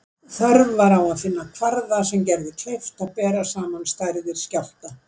Þörf var á að finna kvarða sem gerði kleift að bera saman stærðir skjálfta.